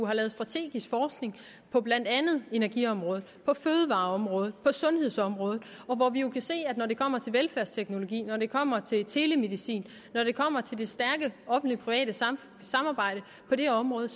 lavet strategisk forskning på blandt andet energiområdet på fødevareområdet på sundhedsområdet hvor vi kan se at når det kommer til velfærdsteknologi når det kommer til telemedicin når det kommer til det stærke offentlig private samarbejde på det område